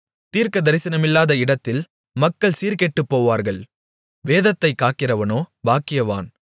தீர்க்கதரிசனமில்லாத இடத்தில் மக்கள் சீர்கெட்டுப்போவார்கள் வேதத்தைக் காக்கிறவனோ பாக்கியவான்